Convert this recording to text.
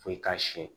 Foyi k'a siyɛn